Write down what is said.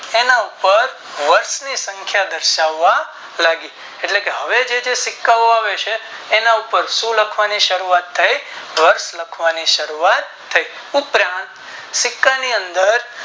તેના પદ વર્ષ ની સંખ્યા દર્શાવવા લાગી એટલે કે હવે જે સિક્કા ઓ આવે છે એના પર શું લખવાની ની શરૂઆત થઈ તો વર્ષ લખવાની શરૂઆત થઈ પુત્ર સિક્કા ની અંદર